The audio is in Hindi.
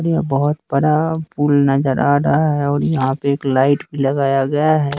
यह बहोत बड़ा पुल नजर आ रहा है और यहां पे एक लाइट भी लगाया गया है।